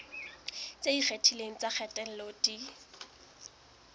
tse ikgethileng tsa kgatello di